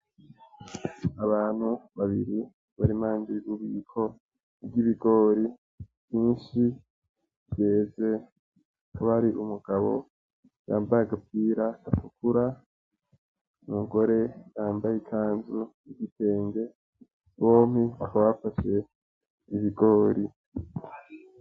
Abantu babiri bar'impande y'ububiko bw'ibigori vyinshi vyeze , hakaba hari umugabo yambaye agapira gatukura , umugore yambaye ikanzu y'igitenge , bompi bakaba bafashe ibigori.